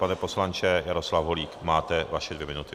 Pane poslanče - Jaroslav Holík - máte své dvě minuty.